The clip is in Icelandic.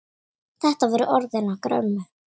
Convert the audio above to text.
Þetta voru orðin okkar ömmu.